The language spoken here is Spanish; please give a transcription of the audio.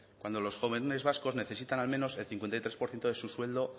cuando los jóvenes vascos necesitan al menos el cincuenta y tres por ciento de su sueldo